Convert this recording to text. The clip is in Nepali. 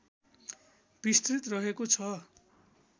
विस्तृत रहेको छ